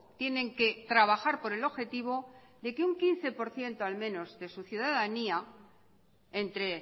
tienen que trabajar por el objetivo de que un quince por ciento al menos de su ciudadanía entre